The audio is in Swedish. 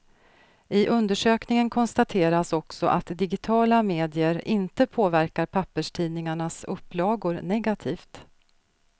I undersökningen konstateras också att digitala medier inte påverkar papperstidningarnas upplagor negativt.